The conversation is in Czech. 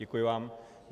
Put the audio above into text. Děkuji vám.